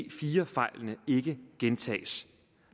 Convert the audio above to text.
ic4 fejlene ikke gentages